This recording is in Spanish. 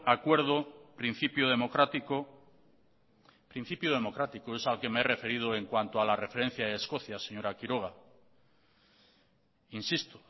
acuerdo principio democrático principio democrático es al que me he referido en cuanto a la referencia de escocia señora quiroga insisto